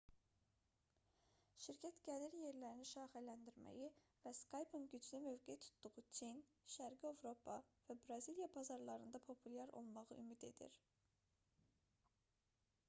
şirkət gəlir yerlərini şaxələndirməyi və skype-ın güclü mövqe tutduğu çin şərqi avropa və braziliya bazarlarında populyar olmağı ümid edir